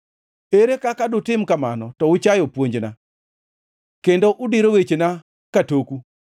Ere kaka dutim kamano to uchayo puonjna kendo udiro wechena katoku!